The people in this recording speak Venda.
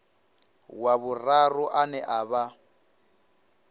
wa vhuraru ane a vha